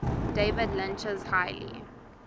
david lynch's highly